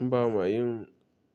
Ba ma yin